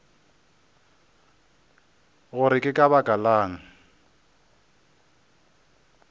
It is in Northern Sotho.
gore ke ka baka lang